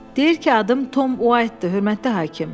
Deyir ki, adım Tom Uaytdır, hörmətli hakim.